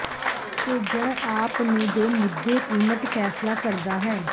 ਭੇਜਣ ਆਪ ਨੂੰ ਦੇ ਮੁੱਦੇ ਕੀਮਤ ਫ਼ੈਸਲਾ ਕਰਦਾ ਹੈ